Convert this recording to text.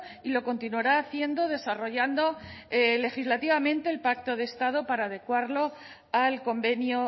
y lo continuará haciendo desarrollando legislativamente el pacto de estado para adecuarlo al convenio